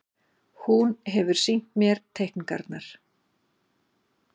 Hún hefur sýnt mér teikningarnar.